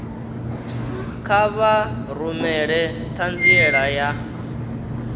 kha vha rumele ṱhanziela ya